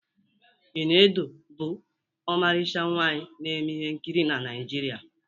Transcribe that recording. Iniedo bụ ọmarịcha nwaanyi na-eme ihe nkiri na Naịjirịa